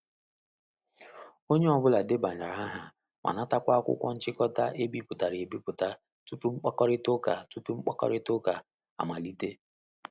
Onye ọ bụla debanyere aha ma natakwa akwụkwọ nchịkọta e bipụtara e biputa tupu mkpakorịta tupu mkpakorịta ụka amalite.